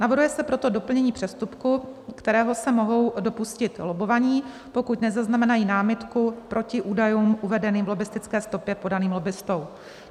Navrhuje se proto doplnění přestupku, kterého se mohou dopustit lobbovaní, pokud nezaznamenají námitku proti údajům uvedeným v lobbistické stopě, podaným lobbistou.